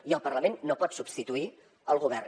i el parlament no pot substituir el govern